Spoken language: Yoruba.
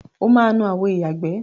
O máa nu àwo ìyàgbẹ́.